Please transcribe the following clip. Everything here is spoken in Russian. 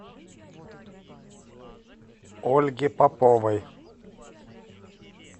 ольге поповой